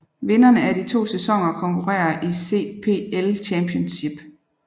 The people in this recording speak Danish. Vinderne af de to sæsoner konkurrerer i CPL Championship